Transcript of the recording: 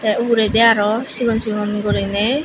tey uguredi aro sigon sigon guriney.